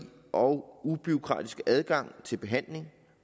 og ubureaukratiske adgang til behandling